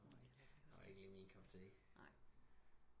Han var ikke lige min kap te